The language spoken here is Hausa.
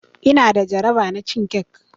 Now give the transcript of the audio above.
Ina da jaraba na cin cake.